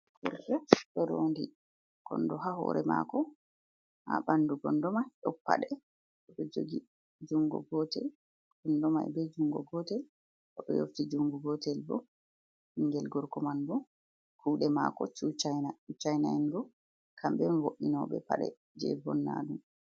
Gorko ɗo ronɗi konɗo ha hore mako. Ha ɓanɗu kondo mai ɗon paɗe. Oɗo jogi jungo gotel, kondo mai ɓe jungo gotel. Oɗo yofti jungo gotel ɓo. Ɓingel gorgo man ɓo kuɗe mako chu chaina. Chu chaina en ɗo kamɓe on vo'inoɓe paɗe je vonnaɗum.